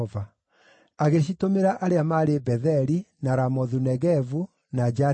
Agĩcitũmĩra arĩa maarĩ Betheli, na Ramothu-Negevu, na Jatiri;